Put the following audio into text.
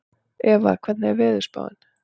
Eva, hvernig er veðurspáin?